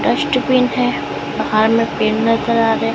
Dustbin है बाहर में पेड़ नजर आ रहे हैं।